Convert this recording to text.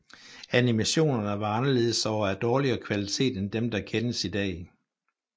Animationerne var anderledes og af dårligere kvalitet end dem der kendes i dag